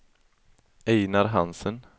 Ejnar Hansen